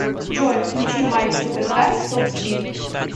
джой включи майк суперкарс топспид